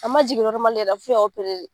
An ma jigin la , f'u y'a de.